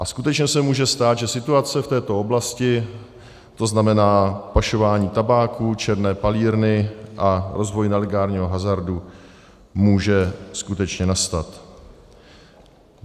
A skutečně se může stát, že situace v této oblasti, to znamená pašování tabáku, černé palírny a rozvoj nelegálního hazardu, může skutečně nastat.